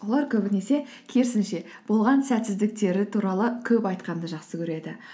олар көбінесе керісінше болған сәтсіздіктері туралы көп айтқанды жақсы көреді